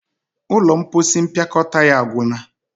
ụlọ mposi mpịakọta ya agwu na.